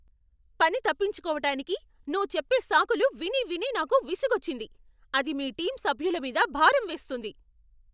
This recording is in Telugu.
పని తప్పించుకోవటానికి నువ్వు చెప్పే సాకులు విని విని నాకు విసుగొచ్చింది, అది మీ టీం సభ్యుల మీద భారం వేస్తుంది.